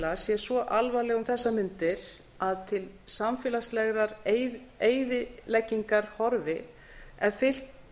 sé svo alvarleg um þessar mundir að til samfélagslegrar eyðileggingar horfi ef fylgt